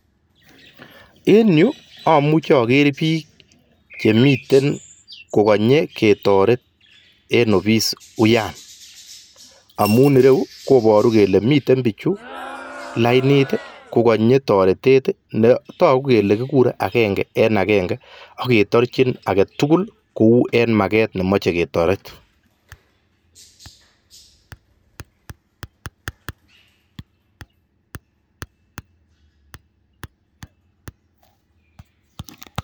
En yu amuchi aker bik chekanye ketoret en ofis uyaa ak taku kole bichu ketoreti agenge eng agenge